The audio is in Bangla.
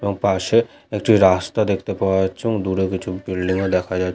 এবং পাশে একটি রাস্তা দেখতে পাওয়া যাচ্ছে এবং দূরে কিছু বিল্ডিং ও দেখা যা --